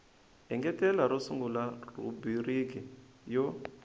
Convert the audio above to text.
engetela ro sungula rhubiriki yo